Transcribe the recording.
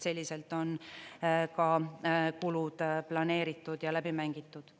Selliselt on ka kulud planeeritud ja läbi mängitud.